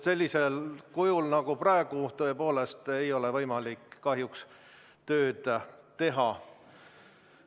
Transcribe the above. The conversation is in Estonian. Sellisel kujul nagu praegu tõepoolest ei ole võimalik kahjuks tööd teha.